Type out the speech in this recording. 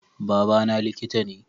Baba na liƙita ne